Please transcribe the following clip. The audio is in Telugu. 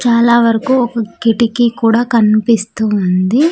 చాలా వరకు ఒక కిటికీ కూడా కనిపిస్తూ ఉంది.